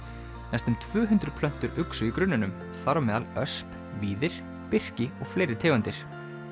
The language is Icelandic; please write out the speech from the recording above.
næstum tvö hundruð plöntur uxu í grunninum þar á meðal ösp víðir birki og fleiri tegundir